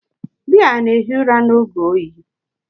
Bea na-ehi ụra n’oge oyi?